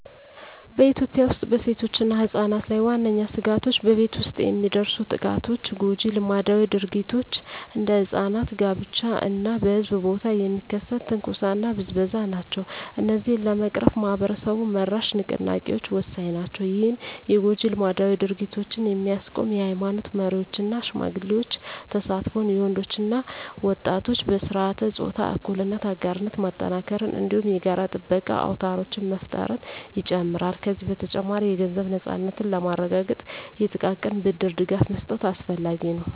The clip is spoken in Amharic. በኢትዮጵያ ውስጥ በሴቶችና ሕጻናት ላይ ዋነኛ ስጋቶች በቤት ውስጥ የሚደርሱ ጥቃቶች፣ ጎጂ ልማዳዊ ድርጊቶች (እንደ ሕጻናት ጋብቻ) እና በሕዝብ ቦታ የሚከሰት ትንኮሳና ብዝበዛ ናቸው። እነዚህን ለመቅረፍ ማኅበረሰብ-መራሽ ንቅናቄዎች ወሳኝ ናቸው። ይህም የጎጂ ልማዳዊ ድርጊቶችን የሚያስቆም የኃይማኖት መሪዎች እና ሽማግሌዎች ተሳትፎን፣ የወንዶች እና ወጣቶች በሥርዓተ-ፆታ እኩልነት አጋርነት ማጠናከርን፣ እንዲሁም የጋራ ጥበቃ አውታሮችን መፍጠርን ይጨምራል። ከዚህ በተጨማሪ፣ የገንዘብ ነፃነትን ለማረጋገጥ የጥቃቅን ብድር ድጋፍ መስጠት አስፈላጊ ነው።